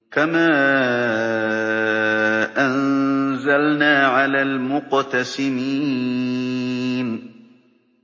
كَمَا أَنزَلْنَا عَلَى الْمُقْتَسِمِينَ